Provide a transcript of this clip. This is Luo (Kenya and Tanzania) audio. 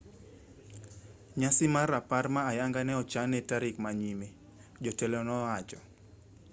nyasi mar rapar ma ayanga ne ochan ne tarik ma nyime jotelo ne owacho